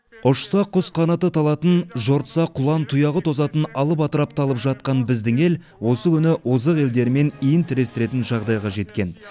ұшса құс қанаты талатын жортса құлан тұяғы тозатын алып атырапты алып жатқан біздің ел осы күні озық елдермен иін тірестіретін жағдайға жеткен